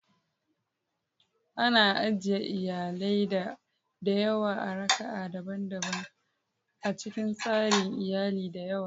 Ana ajiye iyalai da yawa a raka'a daban a cikin tsarin iyali da yawa.